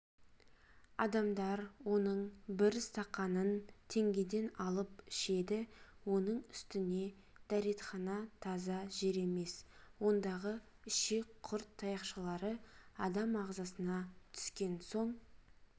адамдар оның бір стақанын теңгеден алып ішеді оның үстіне дретхана таза жер емес ондағы ішек құрт таяқшалары адам ағзасына түскен соң